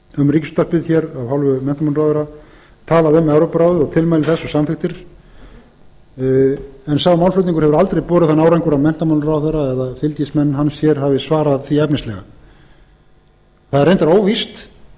um ríkisútvarpið hér af hálfu menntamálaráðherra talað um evrópuráðið og tilmæli þess og samþykktir en sá málflutningur hefur aldrei borið þann árangur að menntamálaráðherra eða fylgismenn hans hér hafi svarað því efnislega það er reyndar óvíst og rétt að